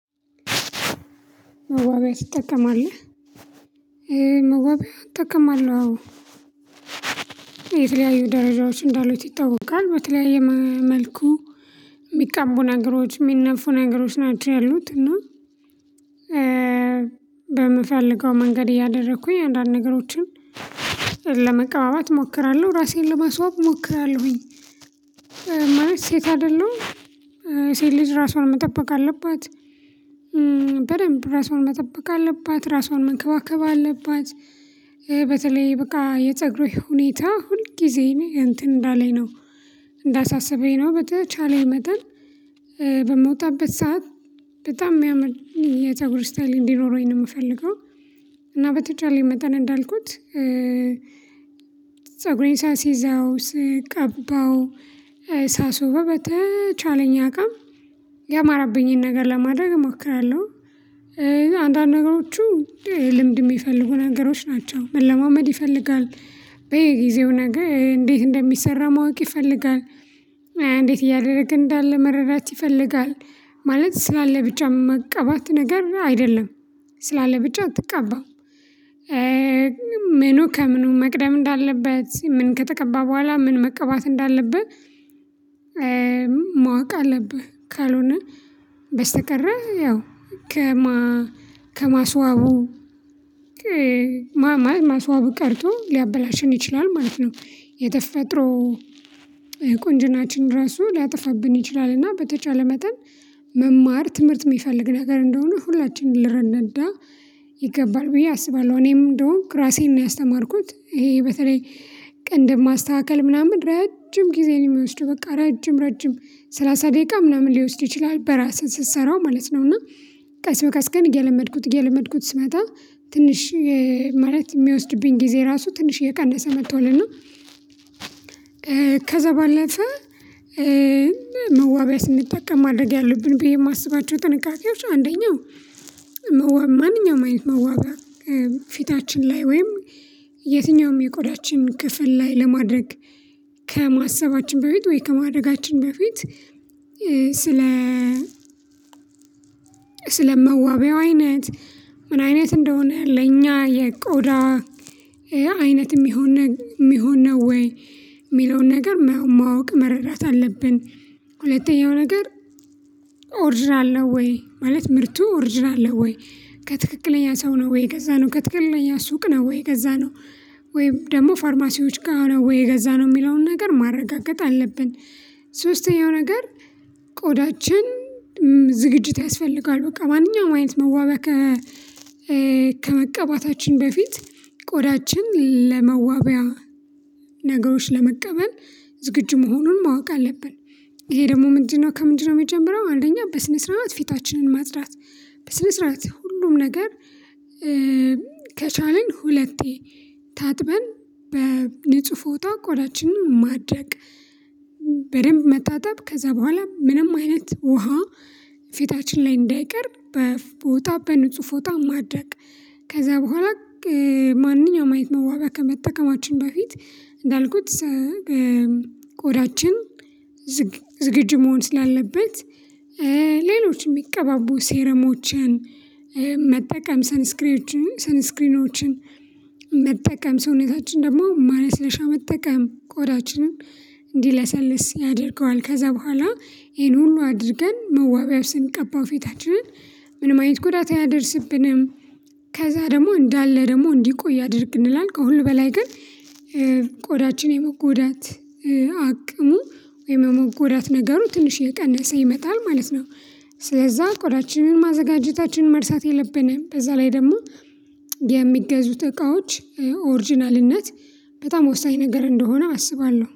"መዋቢያ ትጠቀማለህ?" መዋቢያ እጠቀማለሁ አዎ። የተለያዩ ደረጃዎች እንዳሉት ይታወቃል። በተለያየ መልኩ የሚቀቡ ነገሮች የሚነፉ ነገሮች ናቸው ያሉት፤ እና በምፈልገው መንገድ እያደረኩኝ አንዳንድ ነገሮችን ለመቀባባት እሞክራለሁ ራሴን ለማስዋብ እሞክራለሁኝ። ማለት ሴት አይደለሁም ሴት ልጅ ራሷን መጠበቅ አለባት። በደንብ ራሷን መጠበቅ አለባት ራሷን መንከባከብ አለባት በተለይ በቃ የፀጉሬ ሁኔታ ሁል ጊዜ እኔ እንትን እንዳለኝ ነው እንዳሳሰበኝ ነው በተቻለኝ መጠን በምወጣበት ሰዓት በጣም ሚያምር የፀጉር ስታይል እንዲኖረኝ ነው የምፈልገው እና በተቻለኝ መጣን እንዳልኩት ፀጉሬን ሳሲዘው፣ ስቀባው፣ ሳሱበው በተቻለኝ አቅም ያማረብኝን ነገር ለማድረግ እሞክራለሁ። አንዳንድ ነገሮቹ ልምድ የሚፈልጉ ነገሮች ናቸው መለማመድ ይፈልጋል፣ በየጊዜው ነገ እንዴት እንደሚሰራ ማወቅ ይፈልጋል፣ እንዴት እያደረግን እንዳለ መረዳት ይፈልጋል ማለት ስላለ ብቻ መቀባት ነገር አይደለም ስላለ ብቻ አትቀባም። ምኑ ከምኑ መቅደም እንዳለበት ምን ከተቀባህ በኋላ ምን መቀባት እንዳለበት ማወቅ አለብህ። ካልሆነ በስተቀረ ያው ከማ ከማስዋቡ ማ ማ ማስዋቡ ቀርቶ ሊያበላሸን ይችላል ማለት ነው። የተፈጥሮ ቆንጅናችንን ራሱ ሊያጠፋብን ይችላል እና በተቻለ መጠን መማር ትምህርት የሚፈልግ ነገር እንደሆነ ሁላችንም ልንረዳ ይገባል ብዬ አስባለሁ እኔም እንደሆንኩ ራሴን ነው ያስተማርኩት ይሄ በተለይ ቅንድብ ማስተካከል ምናምን ረጅም ጊዜን የሚወስድ በቃ ረጅም ረጅም ሰላሳ ደቂቃ ምናምን ሊወስድ ይችላል በራስህ ስትሰራው ማለት ነው፤ እና ቀስ በቀስ ግን እየለመድኩት እየለመድኩት ስመጣ ትንሽ ማለት የሚወስድብኝ ጊዜ ራሱ ትንሽ እየቀነሰ መጥቷል እና ከዛ ባለፈ መዋቢያ ስንጠቀም ማድረግ ያሉብን ብዬ የማስባቸው ጥንቃቄዎች አንደኛው መዋ ማንኛውም አይነት መዋቢያ ፊታችን ላይ ወይም የትኛውም የቆዳችን ክፍል ላይ ለማድረግ ከማሰባችን በፊት ወይ ከማድረጋችን በፊት ስለ መዋቢያው አይነት ምን አይነት እንደሆነ ለእኛ የቆዳ አይነት የሚሆን ነ የሚሆን ነው ወይ የሚለውን ነገር ማወቅ መረዳት አለብን። ሁለተኛው ነገር ኦርጅናለሁ ነው ወይ ማለት ምርቱ ኦርጅናል ነው ወይ ከትክክለኛ ሰው ነው ወይ የገዛነው ከትክክለኛ ሱቅ ነው ወይ የገዛነው ወይም ደግሞ ፋርማሲዎች ጋር ነው ወይ የገዛነው የሚለውን ነገር ማረጋገጥ አለብን። ሶስተኛው ነገር ቆዳችን ዝግጅት ያስፈልጋል በቃ ማንኛውም አይነት መዋቢያ ከ ከመቀባታችን በፊት ቆዳችን ለመዋቢያ ነገሮች ለመቀበል ዝግጁ መሆኑን ማወቅ አለብን። ይሄ ደግሞ ምንድነው ከምንድነው የሚጀምረው አንደኛ በስነ ስርዓት ፊታችንን ማጽዳት በስነ ስርዓት ሁሉም ነገር ከቻልን ሁለቴ ታጥበን በንጹህ ፎጣ ቆዳችንን ማድረቅ በደንብ መታጠብ ከዛ በኋላ ምንም አይነት ውሃ ፊታችን ላይ እንዳይቀር በፎጣ በንጹህ ፎጣ ማድረቅ ከዛ በኋላ ማንኛውም አይነት መዋቢያ ከመጠቀማችን በፊት እንዳልኩት ቆዳችን ዝግጅ መሆን ስላለበት ሌሎች የሚቀባቡ ሴረሞችን መጠቀም ሰንስክሪዎችን ሰንስክሪኖችን መጠቀም ሰውነታችን ደግሞ ማለስለሻ መጠቀም ቆዳችንን እንዲለሰልስ ያደርገዋል። ከዛ በኋላ ይሄን ሁሉ አድርገን መዋቢያ ስንቀባው ፊታችንን ምንም አይነት ጉዳታ አያደርስብንም ከዛ ደግሞ እንዳለ ደግሞ እንዲቆይ ያደርግልናል። ከሁሉ በላይ ግን ቆዳችን የመጎዳት አቅሙ ወይም የመጎዳት ነገሩ ትንሽ እየቀነሰ ይመጣል ማለት ነው። ስለዛ ቆዳችንን ማዘጋጀታችንን መርሳት የለብንም። በዛ ላይ ደግሞ የሚገዙት እቃዎች ኦሪጅናልነት በጣም ወሳኝ ነገር እንደሆነ አስባለሁ።